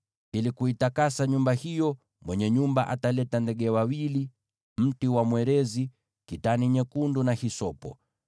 Ili kuitakasa nyumba hiyo, mwenye nyumba ataleta ndege wawili, mti wa mwerezi, kitani nyekundu na hisopo.